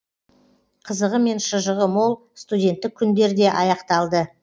қызығы мен шыжығы мол студенттік күндер де аяқталды